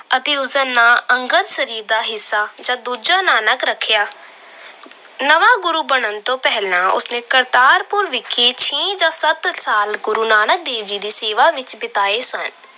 ਅਤੇ ਉਸਦਾ ਨਾਂ ਅੰਗਦ ਸਰੀਰ ਦਾ ਹਿੱਸਾ ਜਾਂ ਦੂਜਾ ਨਾਨਕ ਰੱਖਿਆ। ਨਵਾਂ ਗੁਰੂ ਬਣਨ ਤੋਂ ਪਹਿਲਾਂ ਉਸਨੇ ਕਰਤਾਰਪੁਰ ਵਿਖੇ ਛੇ ਜਾਂ ਸੱਤ ਸਾਲ ਗੁਰੂ ਨਾਨਕ ਦੇਵ ਜੀ ਦੀ ਸੇਵਾ ਵਿੱਚ ਬਿਤਾਏ ਸਨ।